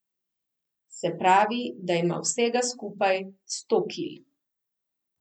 Se pravi, da ima vsega skupaj sto kil.